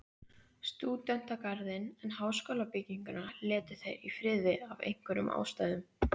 Stúdentagarðinn, en háskólabygginguna létu þeir í friði af einhverjum ástæðum.